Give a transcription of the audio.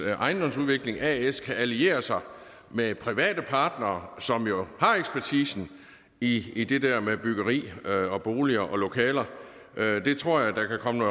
ejendomsudvikling as kan alliere sig med private partnere som jo har ekspertisen i i det der med byggeri boliger og lokaler det tror jeg der kan komme